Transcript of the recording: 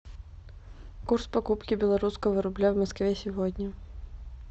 курс покупки белорусского рубля в москве сегодня